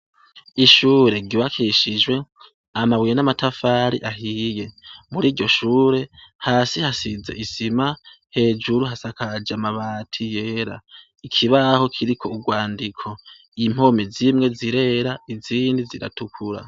Ishure giwakishijwe amabuye n'amatafari ahiye muri ryo shure hasi hasize isima hejuru hasakaje amabati yera ikibaho kiriko urwandiko impome zimwe zirera izindi ziratukura.